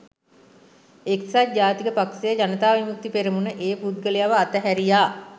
එක්සත් ජාතික පක්ෂය ජනතා විමුක්ති පෙරමුණ ඒ පුද්ගලයව අතහැරියා